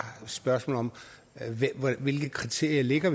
et spørgsmål om hvilke kriterier vi lægger